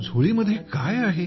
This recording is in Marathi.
झोळीमध्ये काय आहे